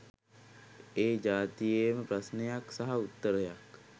ඒ ජාතියේම ප්‍රශ්නයක් සහ උත්තරයක්.